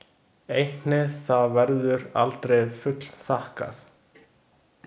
Einnig það verður aldrei fullþakkað.